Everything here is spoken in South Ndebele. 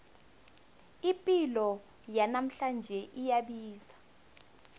ipilo yanamhlanje iyabiza